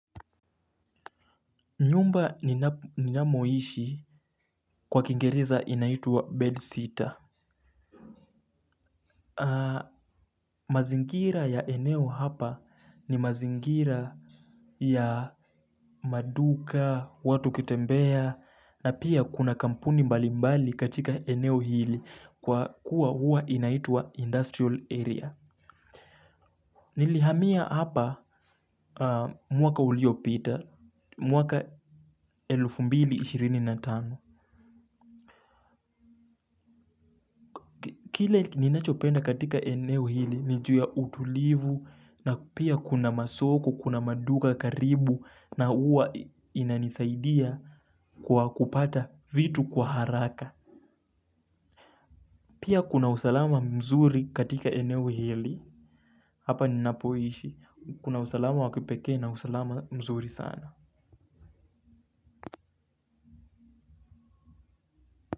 Nyumba ninamoishi kwa kingereza inaitwa bed sitter. Mazingira ya eneo hapa ni mazingira ya maduka, watu kutembea, na pia kuna kampuni mbali mbali katika eneo hili kwa kuwa huwa inaitwa industrial area. Nilihamia hapa mwaka uliopita mwaka elfu mbili ishirini na tano. Kile ninachopenda katika eneo hili, ni ju ya utulivu na pia kuna masoko, kuna maduka karibu na huwa inanisaidia kwa kupata vitu kwa haraka. Pia kuna usalama mzuri katika eneo hili, hapa ninapoishi, kuna usalama wa kipekee na usalama mzuri sana.